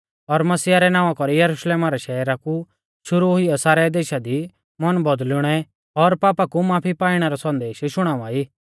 और मसीहा रै नावां कौरी यरुशलेम रै शहरा कु शुरु हुइयौ सारै देशा दी मन बौदुल़णै और पापा कु माफी पाइणा रौ संदेश शुणाउवाई